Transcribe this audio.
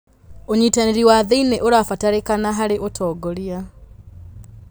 ũnyitanĩri wa thĩiniĩ ũrabataranĩka harĩ ũtongoria.